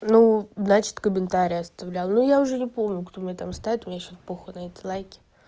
ну значит комментарии оставлял ну я уже не помню кто мне там ставит мне сейчас похуй на эти лайки